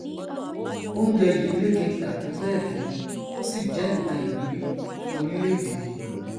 oúnjẹ yìí lékenkà tóbẹẹgẹ ó sì jẹ nnkan ìwúrí fún orílẹèdè yìí